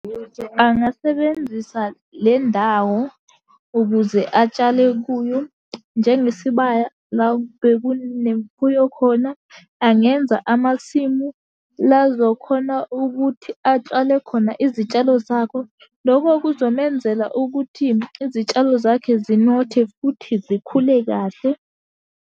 Angasebenzisa le ndawo ukuze atshale kuyo njengesibaya la bekunemfuyo khona. Angenza amasimu la azokhona ukuthi atshale khona izitshalo zakho. Loko kuzomenzela ukuthi izitshalo zakhe zinothe, futhi zikhule kahle.